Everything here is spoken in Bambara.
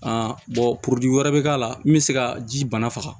wɛrɛ bɛ k'a la min bɛ se ka ji bana faga